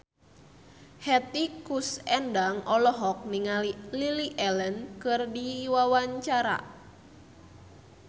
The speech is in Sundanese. Hetty Koes Endang olohok ningali Lily Allen keur diwawancara